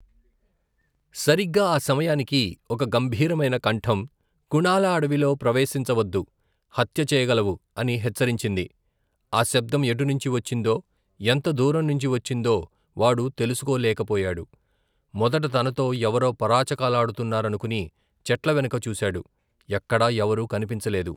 సరిగ్గా ఆ సమయానికి, ఒక గంభీరమైన కంఠం కుణాలా అడవిలో ప్రవేశించ వద్దు, హత్య చెయ్యగలవు అని హెచ్చరించింది, ఆ శబ్దం ఎటునుంచి వచ్చిందో ఎంత దూరం నుంచి వచ్చిందో వాడు తెలుసుకో లేకపోయాడు, మొదట తనతో ఎవరో పరాచకాలాడుతున్నారనుకుని చెట్లవెనక చూశాడు, ఎక్కడా ఎవరూ కనిపించలేదు.